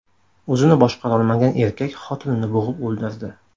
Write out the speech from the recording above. O‘zini boshqarolmagan erkak xotinini bo‘g‘ib o‘ldirdi.